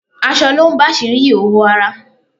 Aṣọ lo ń bàsírí ìhòòhò ara